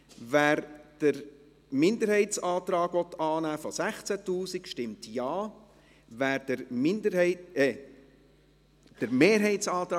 Wer den Minderheitsantrag auf 16 000 Franken annehmen will, stimmt Ja, wer den Minderheits… Entschuldigen Sie, ich korrigiere mich: